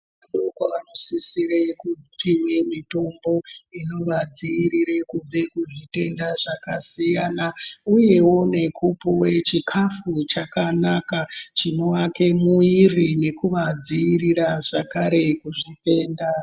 Vana vadoko vanosisire kupuwe mitombo inovadziirira kubve kuzvitenda zvakasiyana siyana uyewo nekupuwe chikafu chakanaka chinovaka muwiri nekuvadziirira zvakare kuzvitenda.